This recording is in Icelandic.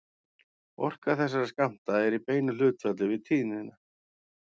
Orka þessara skammta er í beinu hlutfalli við tíðnina.